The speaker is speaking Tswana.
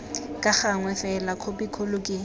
ka gangwe fela khopikgolo ke